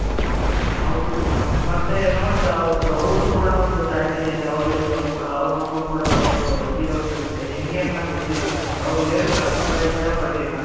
ಹೌದು ಸುಮಂತ್ ಮತ್ತೆ ನೋಡ್ದಾ ಅವ್ರ್ದು ಅವ್ರ್ದು ಕೂಡ ಒಂದು tragedy ಇದೆ ಅವರ life ಅಲ್ಲಿ ಕೂಡ ಅವ್ರ್ ಮಗು ಕೂಡ ಒಂದು ತೀರ್ ಹೋಗಿರುತ್ತೆ ಹೆಂಗೆ ಅಂತ ಗೊತ್ತಿಲ್ಲ ಸುಮಂತ್ ಅವರು ಹೇಳಿಕೊಳ್ಳೋಕೆ ಕೂಡ ಇಷ್ಟಪಡಲಿಲ್ಲ,